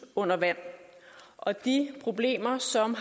under vand og de problemer som